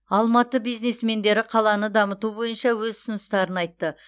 алматы бизнесмендері қаланы дамыту бойынша өз ұсыныстарын айтты